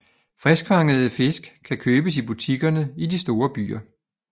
Friskfangede fisk kan købes i butikkerne i de store byer